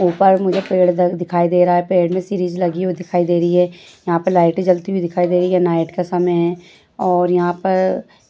ऊपर मुझे पेड़ दिखाई दे रहा है पेड़ में लगी हुए दिखाई दे रही है यहाँ पे लइते जलती हुई दिखाई दे रही हैं नाईट का समय है और वहां पे